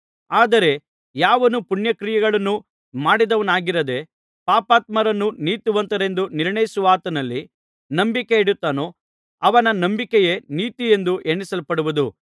ಆದರೆ ಯಾವನು ಪುಣ್ಯಕ್ರಿಯೆಗಳನ್ನು ಮಾಡಿದವನಾಗಿರದೆ ಪಾಪಾತ್ಮರನ್ನು ನೀತಿವಂತರೆಂದು ನಿರ್ಣಯಿಸುವಾತನಲ್ಲಿ ನಂಬಿಕೆಯಿಡುತ್ತಾನೋ ಅವನ ನಂಬಿಕೆಯೇ ನೀತಿ ಎಂದು ಎಣಿಸಲ್ಪಡುವುದು